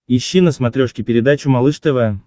ищи на смотрешке передачу малыш тв